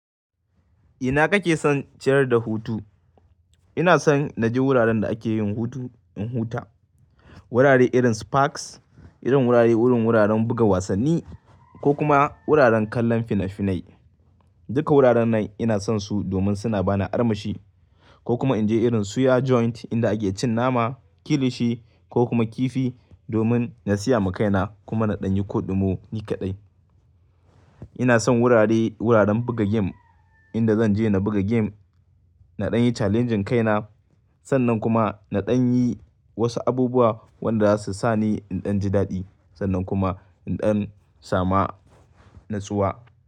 Ina kake son ciyar da hutu? Ina son na je wuraren da ake yin hutu in huta. Wurare irin Sparks, irin wurare wurin wuraren buga wasanni ko kuma wuraren kallon fina-finai. Duka wuraren nan ina son su domin suna bani armashi ko kuma in je irin suya joint inda ake cin nama, kilishi ko kuma kifi domin na siya ma kaina kuma na ɗan yi koɗi mo ni kaɗai. Ina son wurare wuraren buga gem inda zan je na buga gem, na ɗan yi challenging kaina sannan kuma na ɗan yi wasu abubuwa wanda za su sa ni in ɗan ji daɗi sannan kuma in ɗan sama natsuwa.